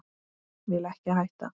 Vil ekki hætta.